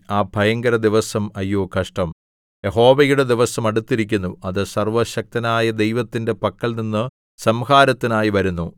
ആ ഭയങ്കര ദിവസം അയ്യോ കഷ്ടം യഹോവയുടെ ദിവസം അടുത്തിരിക്കുന്നു അത് സർവ്വശക്തനായ ദൈവത്തിന്റെ പക്കൽനിന്ന് സംഹാരത്തിനായി വരുന്നു